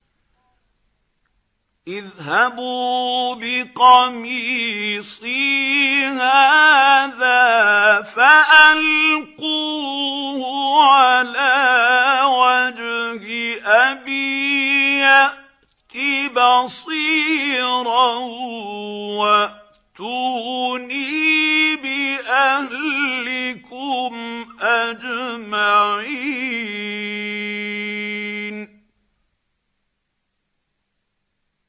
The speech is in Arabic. اذْهَبُوا بِقَمِيصِي هَٰذَا فَأَلْقُوهُ عَلَىٰ وَجْهِ أَبِي يَأْتِ بَصِيرًا وَأْتُونِي بِأَهْلِكُمْ أَجْمَعِينَ